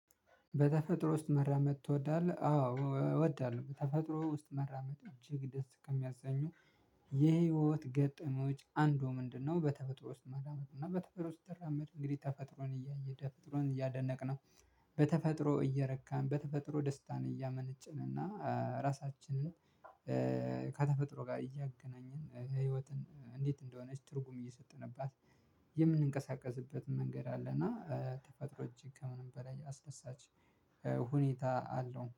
በተፈጥሮ ውስጥ መራመድ ትወዳለህ? አዎ እወዳለሁ በተፈጥሮ ውስጥ መራመድ እጅግ ደስ ከሚያሰኙ የህይወት ገጠመኞች አንዱ ምንድነው በተፈጥሮ ውስጥ መራመድ እና በተፈጥሮ ውስጥ ስትራመድ እንግዲህ ተፈጥሮን ተፈጥሮን እያደነቅን በተፈጥሮ እየረካን በተፈጥሮ ደስታን እያመነጭን እና ራሳችንን ከተፈጥሮ ጋር እያገናኘን ህይወትን እንዴት እንደሆነች ትርጉም እየሰጠንባት የምንቀሳቀስበት መንገድ አለና ተፈጥሮ እጅግ ከምንም በላይ አስደሳች ሁኔታ አለው።